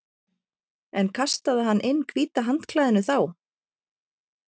En kastaði hann inn hvíta handklæðinu þá?